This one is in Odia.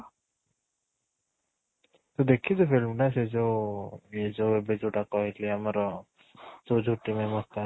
ତୁ ଦେଖିଚୁ film ଟା ସେ ଯୋଉ ଇଏ ଯୋଉ ଏବେ ଯୋଉଟା କହିଲି ଆମର